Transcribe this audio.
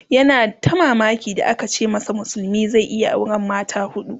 yana ta mamaki da aka ce masa musulmi zai iya auran mata hudu